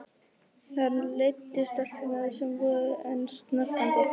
Hann leiddi stelpurnar, sem voru enn snöktandi.